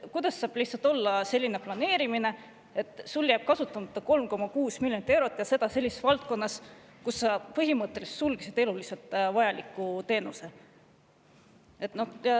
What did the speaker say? Kuidas saab olla selline planeerimine, et sul jääb kasutamata 3,6 miljonit eurot ja seda sellises valdkonnas, kus sa sulgesid põhimõtteliselt eluliselt vajaliku teenuse?